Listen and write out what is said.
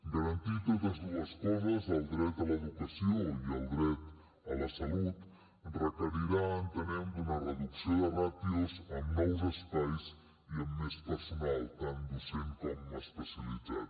garantir totes dues coses el dret a l’educació i el dret a la salut requerirà entenem una reducció de ràtios amb nous espais i amb més personal tant docent com especialitzat